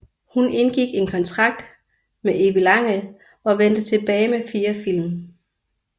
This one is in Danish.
Hun indgik en kontrakt med Evilangel og vendte tilbage med fire film